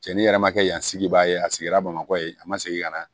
Cɛnnin yɛrɛ ma kɛ yan sigi baa ye a sigira bamakɔ ye a ma segin ka na